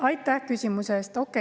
Aitäh küsimuse eest!